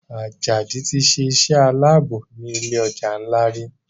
Ajadi tí ṣe iṣé Àlàbò ní ilé ọjà nla rí.